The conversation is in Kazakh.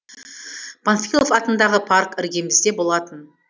панфилов атындағы парк іргемізде болатын